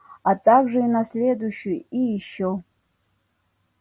а также и на следующую и ещё